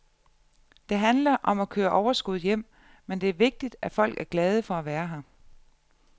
Det handler om at køre overskud hjem, men det er vigtigt, at folk er glade for at være her.